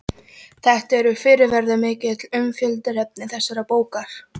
Þetta eru fyrirferðarmikil umfjöllunarefni þessarar bókar.